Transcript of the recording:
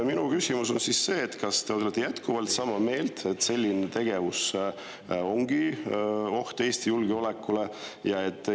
" Minu küsimus on see: kas te olete jätkuvalt sama meelt, et selline tegevus on oht Eesti julgeolekule?